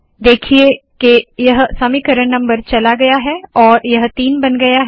देखिए के यह समीकरण नम्बर चला गया है और यह तीन बन गया है